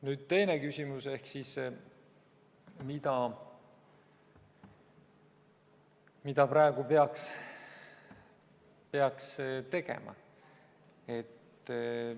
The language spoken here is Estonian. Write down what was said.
Nüüd teine küsimus: mida praegu peaks tegema?